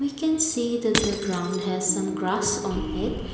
we can see that the ground has some grass on it.